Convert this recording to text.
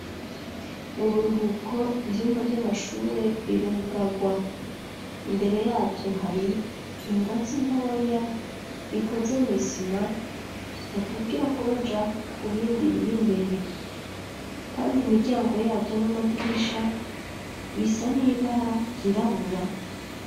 Mu buruhuko, ivyumba vy'amashure, birugarwa; imbere yavyo, hari ingazi ntoya, ikoze mw'isima, badugirako, baja ku bindi, biri imbere; kandi imiryango yavyo, n'amadirisha, bisa n'ibara ryirabura.